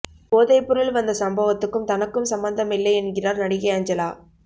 போதைப் பொருள் வந்த சம்பவத்துக்கும் தனக்கும் சம்பந்தமில்லை என்கிறார் நடிகை அஞ்சலா